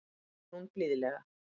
segir hún blíðlega.